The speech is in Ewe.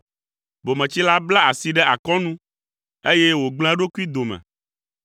Bometsila bla asi ɖe akɔnu eye wògblẽ eɖokui dome.